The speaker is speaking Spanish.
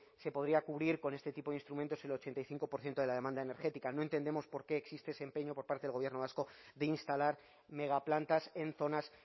se podría cubrir con este tipo de instrumentos el ochenta y cinco por ciento de la demanda energética no entendemos por qué existe ese empeño por parte del gobierno vasco de instalar megaplantas en zonas